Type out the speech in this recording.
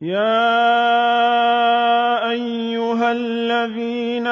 يَا أَيُّهَا الَّذِينَ